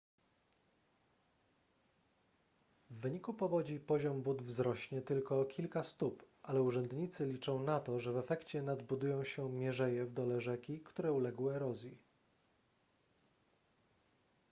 w wyniku powodzi poziom wód wzrośnie tylko o kilka stóp ale urzędnicy liczą na to że w efekcie nadbudują się mierzeje w dole rzeki które uległy erozji